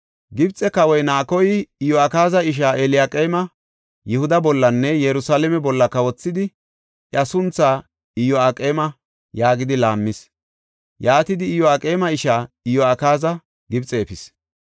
Gibxe kawoy, Naakoy, Iyo7akaaza ishaa Eliyaqeeme Yihuda bollanne Yerusalaame bolla kawothidi iya sunthaa Iyo7aqeema yaagidi laammis. Yaatidi Iyo7aqeema ishaa Iyo7akaaza Gibxe efis.